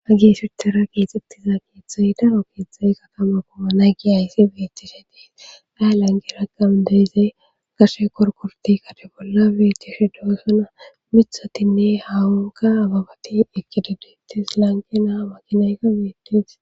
ha gi sirtera keexxettiza keexxay daro keexxay katama koma nagi ayssi beetishe dees yaa langi rakam deezee gashe qorqorti kade bolla beetiyoshe doosona mithatinne hawanka agabati ekkidedetis lanke naa makinayka beetesi